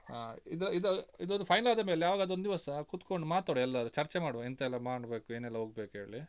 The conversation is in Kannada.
ಹ ಇದು ಇದು ಇದೊಂದು final ಆದಮೇಲೆ ಯಾವಾಗಾದ್ರೂ ಒಂದಿವಸ ಕುತ್ಕೊಂಡು ಮಾತಾಡುವ ಎಲ್ಲರೂ ಚರ್ಚೆ ಮಾಡುವ ಎಂತೆಲ್ಲ ಮಾಡ್ಬೇಕು ಏನೆಲ್ಲ ಹೋಗ್ಬೇಕು ಹೇಳಿ.